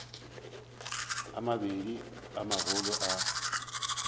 a mabedi a magolo a